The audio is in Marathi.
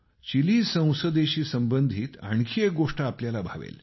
चिली संसदेशी संबंधित आणखी एक गोष्ट आपल्याला भावेल